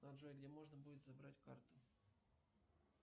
джой где можно будет забрать карту